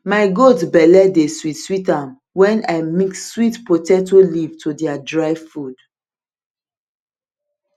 my goat belle de sweet sweet am when i mix sweet potato leaf to their dry food